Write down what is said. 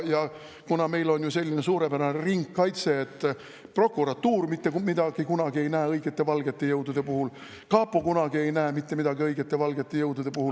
Ja kuna meil on selline suurepärane ringkaitse, et prokuratuur kunagi mitte kui midagi ei näe õigete valgete jõudude puhul, kapo kunagi mitte midagi ei näe õigete valgete jõudude puhul …